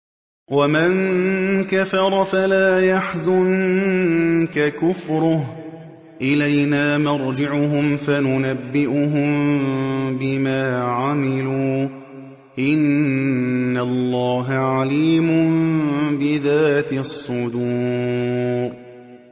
وَمَن كَفَرَ فَلَا يَحْزُنكَ كُفْرُهُ ۚ إِلَيْنَا مَرْجِعُهُمْ فَنُنَبِّئُهُم بِمَا عَمِلُوا ۚ إِنَّ اللَّهَ عَلِيمٌ بِذَاتِ الصُّدُورِ